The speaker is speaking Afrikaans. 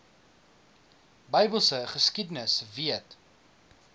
bybelse geskiedenis weet